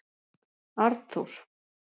Arnþór